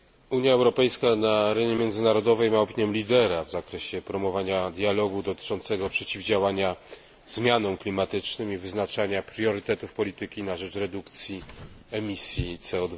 Unia Europejska na arenie międzynarodowej ma opinię lidera w zakresie promowania dialogu dotyczącego przeciwdziałania zmianom klimatycznym i wyznaczania priorytetów polityki na rzecz redukcji emisji CO